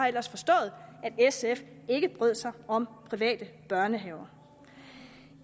ellers forstået at sf ikke brød sig om private børnehaver